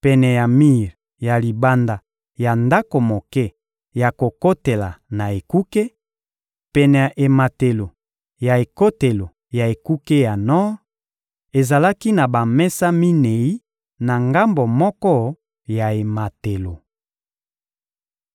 Pene ya mir ya libanda ya ndako moke ya kokotela na ekuke, pene ya ematelo ya ekotelo ya ekuke ya nor, ezalaki na bamesa minei na ngambo moko ya ematelo.